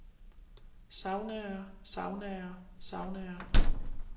saunaer saunaer saunaer